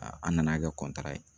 an nana kɛ ye